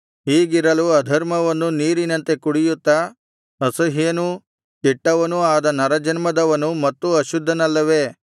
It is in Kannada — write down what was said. ಹೀಗಿರಲು ಅಧರ್ಮವನ್ನು ನೀರಿನಂತೆ ಕುಡಿಯುತ್ತಾ ಅಸಹ್ಯನೂ ಕೆಟ್ಟವನೂ ಆದ ನರಜನ್ಮದವನು ಮತ್ತೂ ಅಶುದ್ಧನಲ್ಲವೇ